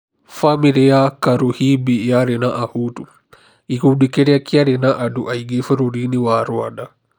Famĩlĩ ya Karuhimbi yarĩ na ahutu, gĩkundi kĩria kĩarĩ na andu aingĩ bũrũri-inĩ wa Rwanda.